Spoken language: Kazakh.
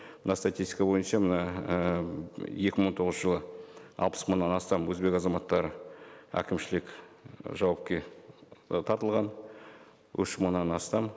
мына статистика бойынша мына і екі мың он тоғызыншы жылы алпыс мыңнан астам өзбек азаматтары әкімшілік жауапқа і тартылған үш мыңнан астам